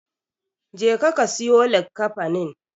Jeka ka siyo likkafanin.